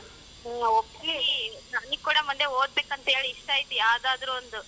ಹೂ ಒಪ್ಸಿ ನನಿಗ್ ಕೂಡ ಮುಂದೆ ಓದಬೇಕಂತ ಹೇಳಿ ಇಷ್ಟ ಇದಿಯ ಯಾವದಾದರೂ ಒಂದು.